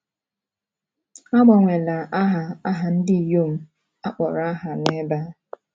A gbanweela aha aha ndị inyom akpọrọ aha n’ebe a.